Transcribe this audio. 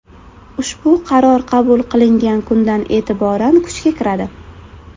Ushbu Qaror qabul qilingan kundan e’tiboran kuchga kiradi.